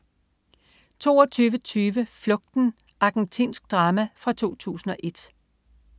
22.20 Flugten. Argentinsk drama fra 2001